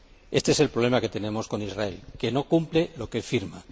Este es el problema que tenemos con Israel que no cumple lo que firma.